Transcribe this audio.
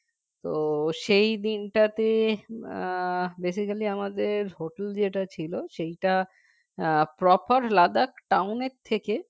তো সেই দিনটাতে আহ basically আমাদের hotel যেটা ছিল সেইটা properLadakhtown এর থেকে